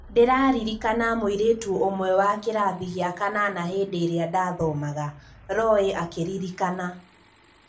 "Ndĩraririkana mũirĩtu ũmwe wa kĩrathi gĩa kanana hĩndĩĩrĩa ndathomaga", Roy akĩririkana.